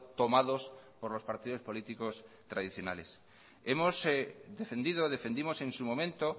tomados por los partidos políticos tradicionales hemos defendido defendimos en su momento